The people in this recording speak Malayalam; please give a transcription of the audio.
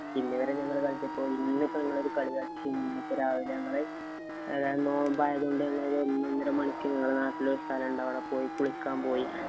ഇന്നിവിടെ ഞങ്ങള് കളിച്ചപ്പോ ഇന്ന് ഇപ്പം ഞങ്ങള് കളി കളിച്ചു. ഇന്നിപ്പം രാവിലെ ഞങ്ങള് നോമ്പായത് കൊണ്ട് ഒന്നൊന്നര മണിക്ക് ഞങ്ങടെ നാട്ടില് ഒരു സ്ഥലോണ്ട്. അവിടെ പോയി കുളിക്കാന്‍ പോയി.